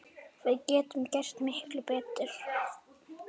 Við getum gert miklu betur!